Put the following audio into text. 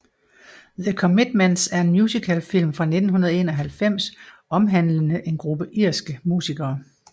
The Commitments er en musicalfilm fra 1991 omhandlende en gruppe irske musikere